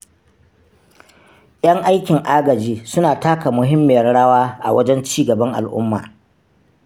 Yan aikin agaji suna taka muhimmiyar rawa a wajen cigaban al'umma.